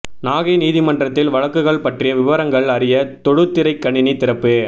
நாகை நீதிமன்றத்தில் வழக்குகள் பற்றிய விபரங்கள் அறிய தொடுதிரை கணினி திறப்பு